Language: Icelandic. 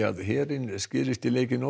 að herinn skerist í leikinn